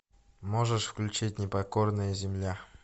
можешь включить непокорная земля